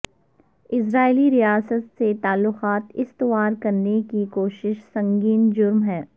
اسرائیلی ریاست سے تعلقات استوار کرنے کی کوشش سنگین جرم ہے